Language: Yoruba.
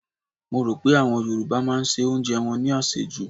Mo rò pé àwọn Yorùbá máa se oúnjẹ wọn ní àsèjù.